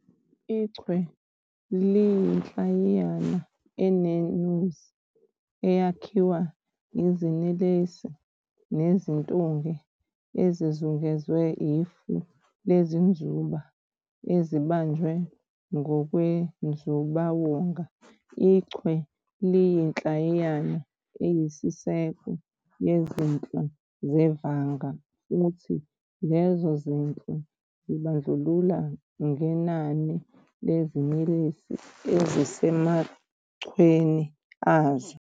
IChwe liyinhlayiyana eneNuzi eyakhiwa iziNelesi neziNtunge ezizungezwe ifu leziNzuba ezibanjwe ngokwenzubawonga. IChwe liyinhlayiyana eyisiseko yezinhlwa zevanga, futhi lezo zinhlwa zibandlulana ngenani leziNelesi ezisemachweni azo.